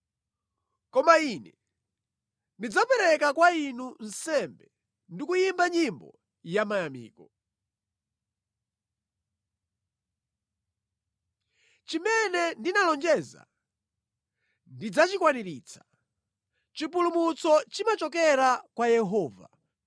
Koma ine ndidzapereka kwa Inu nsembe ndikuyimba nyimbo yamayamiko. Chimene ndinalonjeza ndidzachikwaniritsa. Chipulumutso chimachokera kwa Yehova.”